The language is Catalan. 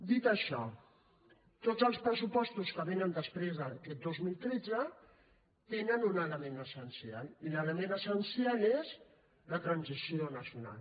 dit això tots els pressupostos que venen després d’aquest dos mil tretze tenen un element essencial i l’element essencial és la transició nacional